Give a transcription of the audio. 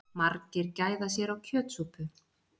Margir gæða sér á kjötsúpu